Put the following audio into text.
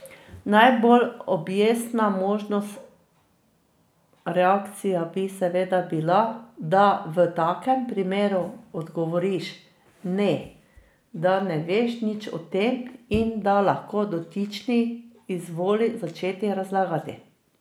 Najbolj objestna možna reakcija bi seveda bila, da v takem primeru odgovoriš, ne, da ne veš nič o tem in da lahko dotični izvoli začeti razlagati.